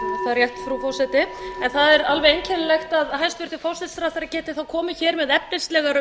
rétt frú forseti það er alveg einkennilegt að hæstvirtur forsætisráðherra geti komið hér með efnislegar umræður